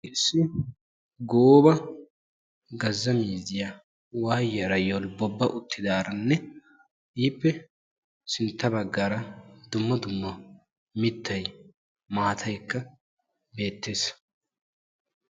Issi gooba gazza miizziyaa waayiyaara yoolbobba uuttidaaranne ippe sintta baagarra dumma dumma miittay maataay bettees.